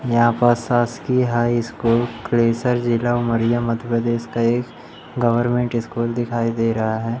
यहां पर शासकीय हाई स्कूल क्रेशर जिला उमरिया मध्य प्रदेश का एक गवर्नमेंट स्कूल दिखाई दे रहा है।